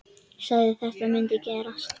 Sagði að þetta mundi gerast.